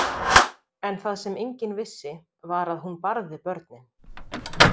En það sem enginn vissi var að hún barði börnin.